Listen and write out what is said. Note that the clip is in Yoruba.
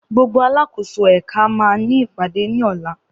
Gbogbo alákòóso ẹ̀ka màa ní ìpàdé ní ọ̀la.